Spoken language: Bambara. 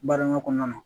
Baara kɔnɔna na